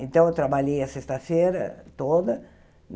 Então, eu trabalhei a sexta-feira toda.